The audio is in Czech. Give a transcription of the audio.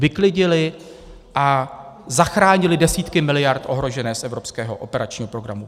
Vyklidili a zachránili desítky miliard ohrožených z evropského operačního programu.